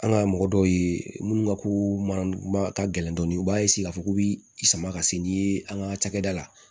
An ka mɔgɔ dɔw ye minnu ka ko mana ka gɛlɛn dɔɔnin u b'a k'a fɔ k'u bɛ i sama ka se ni ye an ka cakɛda la